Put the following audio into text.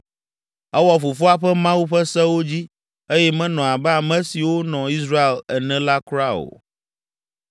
Ewɔ fofoa ƒe Mawu ƒe sewo dzi eye menɔ abe ame siwo nɔ Israel ene la kura o.